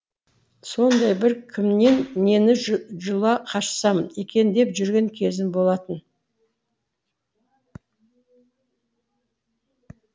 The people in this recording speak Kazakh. сондай бір кімнен нені жұла қашсам екен деп жүрген кезім болатын